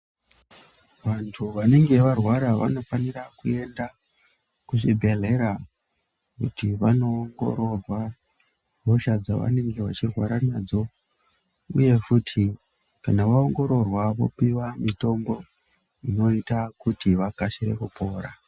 Vantu vanenge varwara vanofanira kuenda kuzvibhedhlera kuti vanoongororwa hosha dzavanenge vechirwaranadzo uyefuti kana vaongororwa vanopuwa mitombo inoita kuti vakasire kupora.